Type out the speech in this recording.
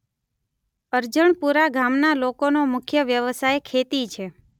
અરજણપુરા ગામના લોકોનો મુખ્ય વ્યવસાય ખેતી છે.